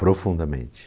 Profundamente.